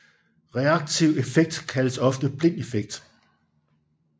Reaktiv effekt kaldes ofte blind effekt